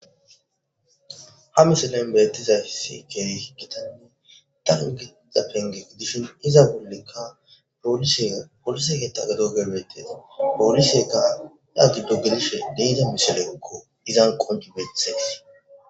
ha misena inbeettizaysi keeri hi gitanne dan geiza penge gu dishin iza bollekka poolise polise geetta gado gebetesa poolisyeka daa gudo gelishe deyide misilekko izan qonjibeththees